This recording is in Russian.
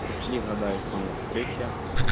прошли года и снова встреча